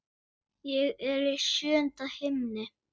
Ég er í sjöunda himni.